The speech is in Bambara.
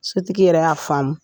Sotigi yɛrɛ y'a faamu